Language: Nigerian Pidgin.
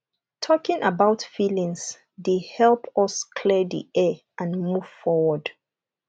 talking about feelings dey help us clear the air and move forward